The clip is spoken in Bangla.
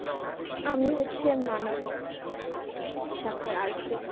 আমি হচ্ছে মানবিক শাখা arts এর